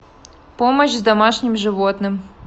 помощь домашним животным